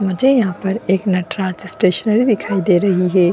मुझे यहां पर एक नटराज स्टेशनरी दिखाई दे रही है।